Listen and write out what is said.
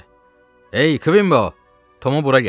Ey Kvimbow, Tomu bura gətir!